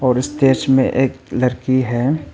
और इस दृश्य में एक लड़की है।